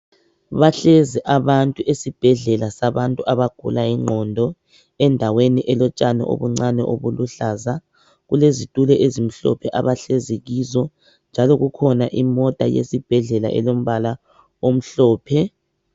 Bahlezi abantu esibhedlela sabantu abagula ingqondo endaweni elotshani obuncane obuluhlaza kulezitulo ezimhlophe abahlezi kizo njalo kukhona imota yesibhedlela elombala omhlophe